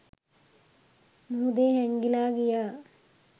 මුහුදෙ හැංගිලා ගියා